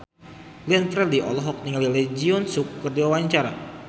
Glenn Fredly olohok ningali Lee Jeong Suk keur diwawancara